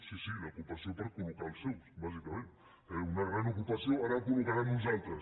sí sí d’ocupació per col·locar els seus bàsicament eh una gran ocupació ara en col·locaran uns altres